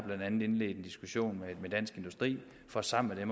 indledt en diskussion med dansk industri for sammen med